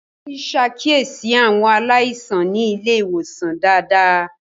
Ngozi ṣàkíyèsí àwọn aláìsàn ní ilé ìwòsàn dáadáa.